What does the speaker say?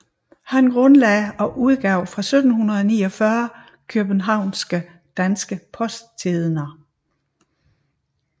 Han grundlagde og udgav fra 1749 Kjøbenhavnske Danske Post Tidender